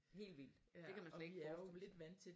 Helt vildt det kan man slet ikke forestille sig